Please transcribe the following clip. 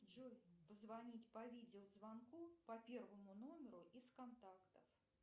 джой позвонить по видеозвонку по первому номеру из контакта